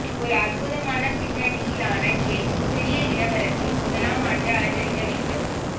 ஒரு அற்புதமான பின்னணியிலான கேக் சிறிய இளவரசி முதலாம் ஆண்டு அலங்கரிக்க வேண்டும்